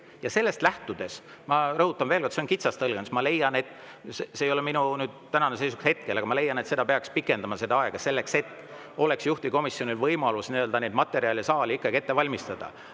Ja sellest lähtudes – ma rõhutan veel kord: see on kitsas tõlgendus – ma leian, et seda aega peaks pikendama, selleks et juhtivkomisjonil oleks võimalus materjale saali jaoks ette valmistada.